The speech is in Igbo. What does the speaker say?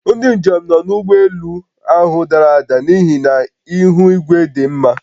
Ndị njem nọ n'ụgbọelu ahụ dara n'ihi na ihu igwe dị mma